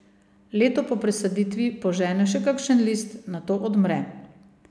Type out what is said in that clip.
Leto po presaditvi požene še kakšen list, nato odmre.